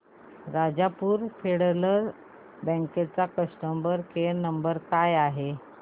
Rajapur Federal Bank चा customer care number काय आहे